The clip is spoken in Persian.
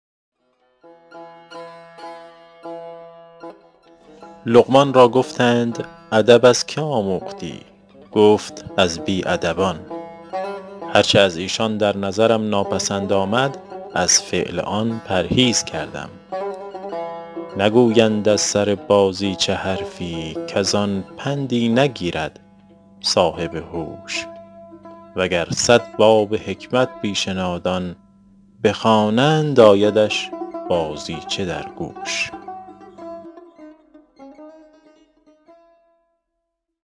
لقمان را گفتند ادب از که آموختی گفت از بی ادبان هر چه از ایشان در نظرم ناپسند آمد از فعل آن پرهیز کردم نگویند از سر بازیچه حرفی کز آن پندی نگیرد صاحب هوش و گر صد باب حکمت پیش نادان بخوانند آیدش بازیچه در گوش